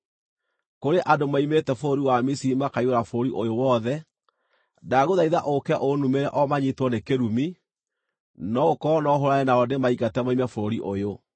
‘Kũrĩ andũ moimĩte bũrũri wa Misiri makaiyũra bũrũri ũyũ wothe. Ndagũthaitha ũũke ũnumĩre o manyiitwo nĩ kĩrumi, no gũkorwo no hũũrane nao ndĩmaingate moime bũrũri ũyũ!’ ”